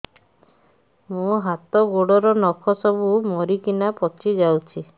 ମୋ ହାତ ଗୋଡର ନଖ ସବୁ ମରିକିନା ପଚି ଯାଉଛି